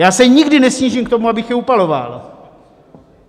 Já se nikdy nesnížím k tomu, abych je upaloval.